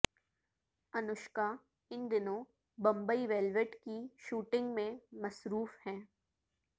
انوشکا ان دنوں بمبئی ویلویٹ کی شوٹنگ میں مصروف ہیں